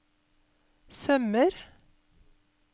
sømmer